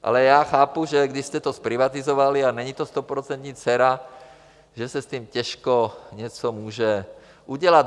Ale já chápu, že když jste to zprivatizovali a není to stoprocentní dcera, že se s tím těžko něco může udělat.